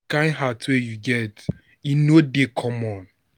di kain heart wey you get, e no dey common.